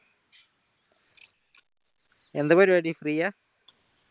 എന്താ പരിവാടി free യ